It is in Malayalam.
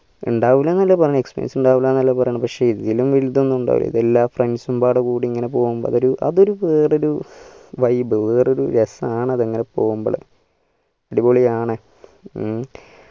ഇണ്ടാകുല എന്നല്ല പറയണേ experience ഇണ്ടാവൂല എന്നാല പറയണേ പക്ഷെ ഇതിനും വലുതോന്നും ഉണ്ടാവില്ല ഇത് എല്ലാ friends ഉം പാടികൂടി ഇങ്ങനെ പോകുമ്പോ അതൊരു വേറെരു vibe വേറെരു രസം ആണ് അങ്ങനെ പോവെമ്പള് അടിപൊളിയാണ് ഉം